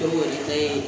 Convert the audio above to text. Dɔw yɛrɛ ta ye